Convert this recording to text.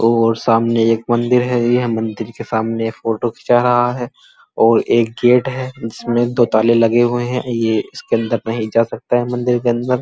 और सामने एक मंदिर हैं। यह मंदिर के सामने फोटो खींचा रहा हैं और एक गेट हैं। जिसमे दो ताले लगे हुए हैं। ये इसके अंदर नहीं जा सकता हैं मंदिर के अंदर।